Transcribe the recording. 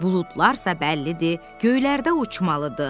Buludlarsa bəllidir, göylərdə uçmalıdır.